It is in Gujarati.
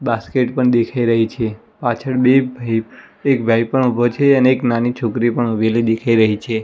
બાસ્કેટ પણ દેખાય રહી છે પાછળ બે ભાઇ એક ભાઈ પણ ઉભો છે અને એક નાની છોકરી પણ ઊભેલી દેખાય રહી છે.